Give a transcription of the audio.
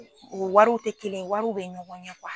U wariw tɛ kelen wariw bɛ ɲɔgɔn ɲɛ .